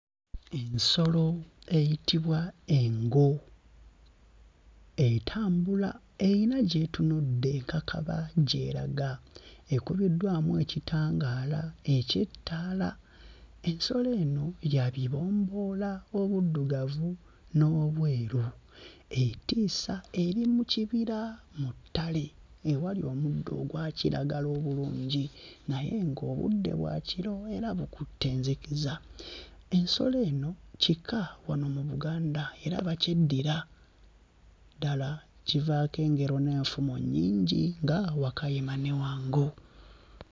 Ensolo eyitibwa engo. Entambula eyina gy'etunudde enkakaba gy'eraga. Ekubiddwamu ekitangaala eky'ettaala. Ensolo eno ya bibomboola obuddugavu n'obweru. Etiisa eri mu kibira mu ttale ewali omuddo ogwa kiragala obulungi naye ng'obudde bwa kiro era bukutte enzikiza. Ensolo eno kika wano mu Buganda era bakyeddira. Ddala kivaako engero n'enfumo nnyingi nga wakayima ne wango.